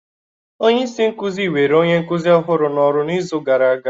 Onye isi nkuzi were onye nkuzi ọhụrụ n'oru n'izu gara aga.